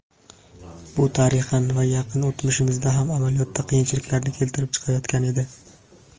Bu tarixan va yaqin o‘tmishimizda ham amaliyotda qiyinchiliklarni keltirib chiqarayotgan edi.